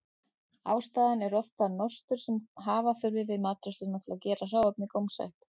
Ástæðan er oft það nostur sem hafa þurfti við matreiðsluna til að gera hráefnið gómsætt.